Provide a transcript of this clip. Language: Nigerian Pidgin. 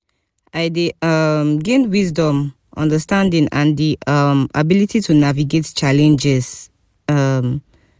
i dey um gain wisdom understanding and di um ability to navigate challenges. um